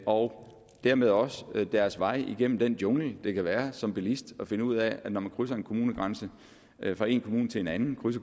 og dermed også deres vej igennem den jungle det kan være som bilist at finde ud af at når man krydser en kommunegrænse kører fra en kommune til en anden så